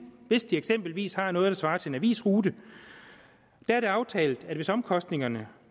hvis de eksempelvis har noget der svarer til en avisrute der er det aftalt at hvis omkostningerne